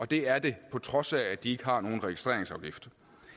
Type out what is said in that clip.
det er det på trods af at de ikke har nogen registreringsafgift